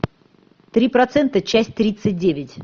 три процента часть тридцать девять